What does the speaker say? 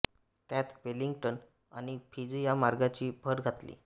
त्यात वेलिंग्टन आणि फिजी या मार्गाची भर घातली